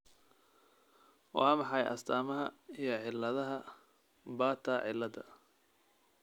Waa maxay astamaha iyo calaamadaha Bartter ciilada?